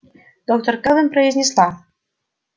доктор кэлвин произнесла